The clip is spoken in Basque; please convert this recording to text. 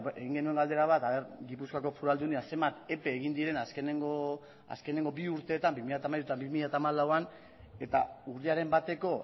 egin genuen galdera bat ea gipuzkoako foru aldundiak zenbat epe egin diren azkenengo bi urteetan bi mila hamairuan eta bi mila hamalauan eta urriaren bateko